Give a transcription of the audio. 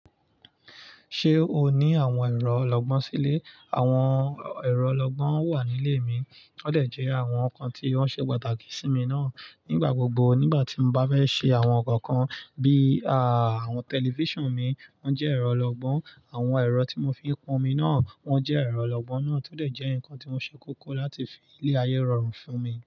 Ṣé o ní àwọn ẹ̀rọ olọ́gbọ́n sílé? Àwọn ẹ̀rọ olọ́gbọ́n wà nílé mi, wọ́n dẹ̀ jẹ́ àwọn nǹkan tí wọ́n ṣe pàtàkì sí mi náà nígbà gbogbo. Nígbà tí mo bá fẹ́ ṣe àwọn nǹkan kan bí i àwọn tẹlifíṣàn mi, wọ́n jẹ́ ẹ̀rọ lọ́gbọ́n. Àwọn ẹ̀rọ tí mò ń fi pon omi náà, wọ́n jẹ́ ẹ̀rọ olọ́gbọ́n náà, tó dẹ̀ jẹ́ nǹkan tí o ṣe kókó láti fi lé ayé rọrùn fún mi.